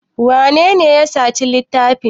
Wanene ya saci littafin?